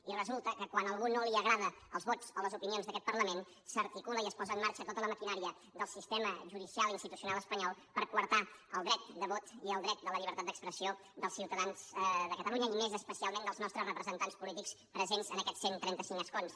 i resulta que quan a algú no li agraden els vots o les opinions d’aquest parlament s’articula i es posa en marxa tota la maquinària del sistema judicial institucional espanyol per coartar el dret de vot i el dret de la llibertat d’expressió dels ciutadans de catalunya i més especialment dels nostres representants polítics presents en aquests cent i trenta cinc escons